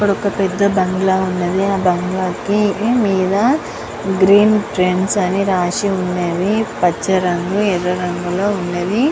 ఇక్కడ ఒక్క పెద్ద బంగ్లా ఉన్నది. ఆ బంగ్లా కి మీద గ్రీన్ ట్రెండ్స్ అని రాసి ఉన్నది. పచ్చ రంగు ఎర్ర రంగులో ఉన్నవి.